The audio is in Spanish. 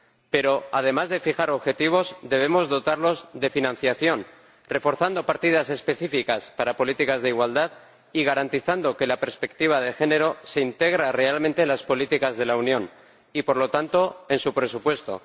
Pero, además de fijar objetivos, debemos dotarnos de financiación, reforzando partidas específicas para políticas de igualdad y garantizando que la perspectiva de género se integra realmente en las políticas de la Unión y, por lo tanto, en su presupuesto.